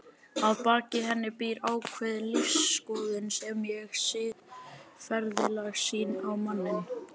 Að baki henni býr ákveðin lífsskoðun sem og siðferðileg sýn á manninn.